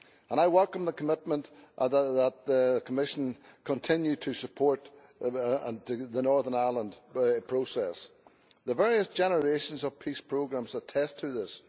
I welcome the commitment that the Commission continues to support the Northern Ireland Process, the various generations of Peace Programmes attest to this.